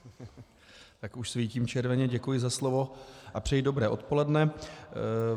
Tak už svítím červeně, děkuji za slovo a přeji dobré odpoledne.